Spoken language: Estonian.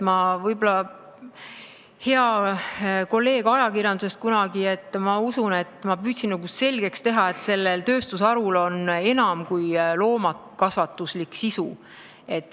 Ma usun, kunagine hea kolleeg ajakirjandusest, et ma püüdsin selgeks teha, et sellel tööstusharul on enam kui loomakasvatuslik sisu.